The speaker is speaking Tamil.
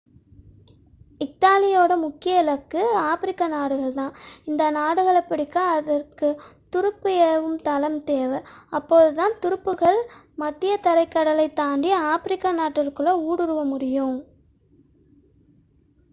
இத்தாலியின் முக்கிய இலக்கு ஆப்பிரிக்க நாடுகள்தான் அந்த நாடுகளை பிடிக்க அதற்கு துருப்பு ஏவும் தளம் தேவை அப்போதுதான் துருப்புகள் மத்தியதரைக்கடலைத் தாண்டி ஆப்பிரிக்க நாட்டிற்குள் ஊடுருவ முடியும்